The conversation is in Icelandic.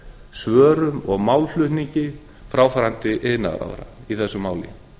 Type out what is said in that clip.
svörum og málflutningi fráfarandi iðnaðarráðherra í þessu máli